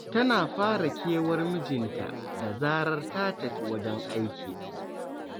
Tana fara kewar mijinta da zarar ta tafi wajen aiki.